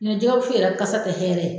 ɲɔndɛ jɛgɛwusu yɛrɛ kasa tɛ hɛrɛ ye.